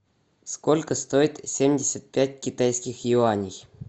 сколько стоит семьдесят пять китайских юаней